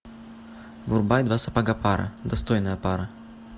врубай два сапога пара достойная пара